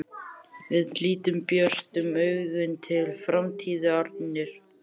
Við lítum björtum augum til framtíðarinnar.